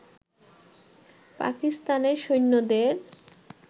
পাকিস্তানের সৈন্যদের